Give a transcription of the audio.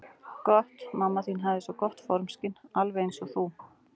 Hún mamma þín hafði svo gott formskyn, alveg eins og þú.